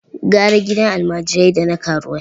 Gara gidan almajirai da na karuwai.